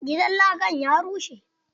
Gidan lakan ya rushe.